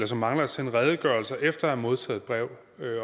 som mangler at sende redegørelser efter at have modtaget brev